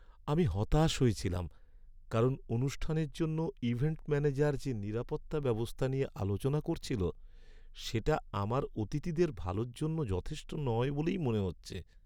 আমি হতাশ হয়েছিলাম কারণ অনুষ্ঠানের জন্য ইভেন্ট ম্যানেজার যে নিরাপত্তা ব্যবস্থা নিয়ে আলোচনা করছিল সেটা আমার অতিথিদের ভালোর জন্য যথেষ্ট নয় বলেই মনে হচ্ছে।